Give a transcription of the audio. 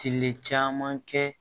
Kili caman kɛ